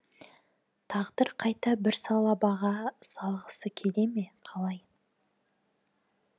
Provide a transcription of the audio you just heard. тағдыр қайта бір салабаға салғысы келе ме қалай